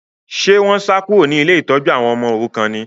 Ṣé wọ́n sá kúrò ní ilé ìtọ́jú àwọn ọmọ òrukàn ni?